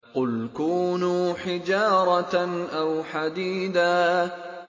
۞ قُلْ كُونُوا حِجَارَةً أَوْ حَدِيدًا